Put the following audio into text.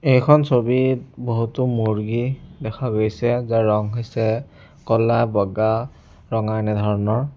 এইখন ছবিত বহুতো মূৰ্গী দেখা গৈছে যাৰ ৰং হৈছে ক'লা বগা ৰঙা এনেধৰণৰ।